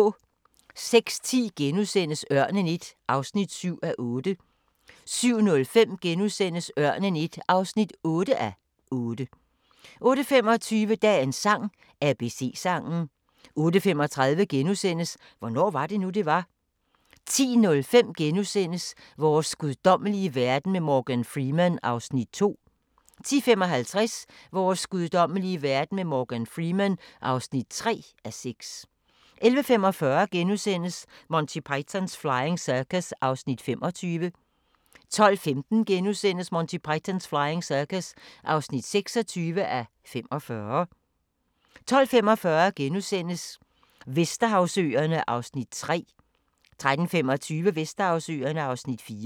06:10: Ørnen I (7:8)* 07:05: Ørnen I (8:8)* 08:25: Dagens sang: ABC-sangen 08:35: Hvornår var det nu, det var? * 10:05: Vores guddommelige verden med Morgan Freeman (2:6)* 10:55: Vores guddommelige verden med Morgan Freeman (3:6) 11:45: Monty Python's Flying Circus (25:45)* 12:15: Monty Python's Flying Circus (26:45)* 12:45: Vesterhavsøerne (Afs. 3)* 13:25: Vesterhavsøerne (Afs. 4)